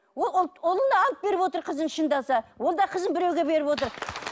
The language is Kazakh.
ол ұлына алып беріп отыр қызын шындаса ол да қызын біреуге беріп отыр